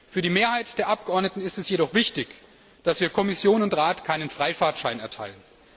Für die Mehrheit der Abgeordneten ist es jedoch wichtig, dass wir Kommission und Rat keinen Freifahrtschein erteilen.